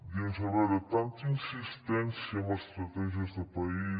dius a veure tanta insistència amb estratègies de país